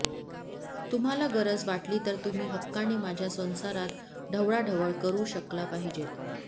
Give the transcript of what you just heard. तुम्हाला गरज वाटली तर तुम्ही हक्काने माझ्या संसारात ढवळाढवळ करू शकला पाहिजेत